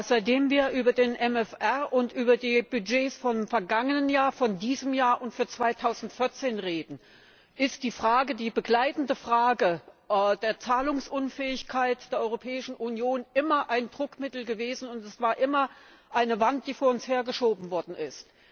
Seitdem wir über den MFR und über die Budgets vom vergangenen Jahr, von diesem Jahr und für 2014 reden, ist die begleitende Frage der Zahlungsunfähigkeit der Europäischen Union immer ein Druckmittel gewesen, und es war immer eine Wand, die vor uns hergeschoben worden ist.